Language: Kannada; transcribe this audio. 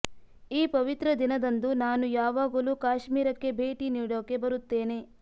ಈ ಪವಿತ್ರ ದಿನದಂದು ನಾನು ಯಾವಾಗಲೂ ಕಾಶ್ಮೀರಕ್ಕೆ ಭೇಟಿ ನೀಡೋಕೆ ಬರುತ್ತೇನೆ